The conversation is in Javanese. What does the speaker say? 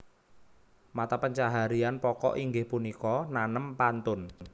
Mata pencaharian pokok inggih punika nanem pantun